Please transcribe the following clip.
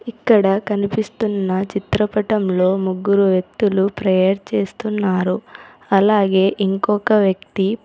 ఇక్కడ కనిపిస్తున్న చిత్రపటంలో ముగ్గురు వ్యక్తులు ప్రేయర్ చేస్తున్నారు అలాగే ఇంకొక వ్యక్తి--